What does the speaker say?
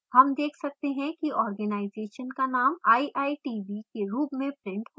हम देख सकते हैं कि organisation का name iitb के रूप में printed हो रहा है